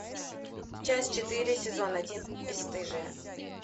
часть четыре сезон один бесстыжие